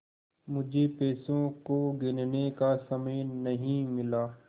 मुझे पैसों को गिनने का समय नहीं मिला